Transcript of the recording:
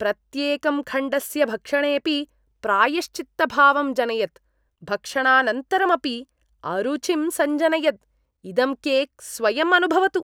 प्रत्येकं खण्डस्य भक्षणेऽपि प्रायश्चित्तभावं जनयत्, भक्षणानन्तरमपि अरुचिं सञ्जनयद् इदं केक् स्वयं अनुभवतु।